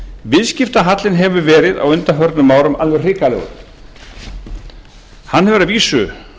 viðskiptahallinn hefur verið á undanförnu árum alveg hrikalegur hann hefur að vísu